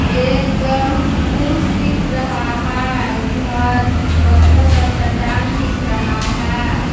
एक पुरुष दिख रहा है उधर पत्थल का चट्टान दिख रहा है।